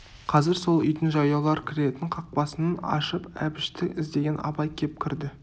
қазір сол үйдің жаяулар кіретін қақпасын ашып әбішті іздеген абай кеп кірді